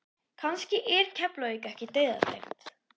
Kannski er Keflavík ekki dauðadæmt?